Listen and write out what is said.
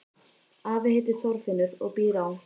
Afi heitir Þorfinnur og býr á